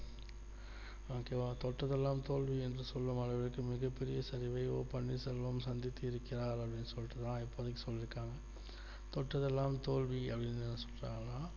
okay வா தொட்டதெல்லாம் தோல்வி என்று சொல்லும் அளவிற்கு மிகப்பெரிய சரிவை ஓ பன்னீர்செல்வம் சந்தித்து இருக்கிறார் அப்படின்னு சொல்லிட்டுல இப்போதக்கி சொல்லி இருக்காங்க தொட்டதெல்லாம் தோல்வி அப்படின்னு சொல்றாங்களா